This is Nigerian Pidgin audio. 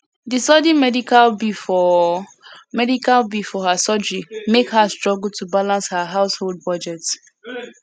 di sudden medical bill for medical bill for her surgery mek her struggle to balance her household budget